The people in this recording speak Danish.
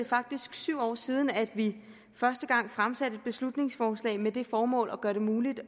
faktisk syv år siden at vi første gang fremsatte et beslutningsforslag med det formål at gøre det muligt